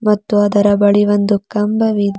ಮತ್ತು ಅದರ ಬಳಿ ಒಂದು ಕಂಬವಿದ್--